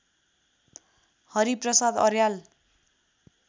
Hari Prasad Aryal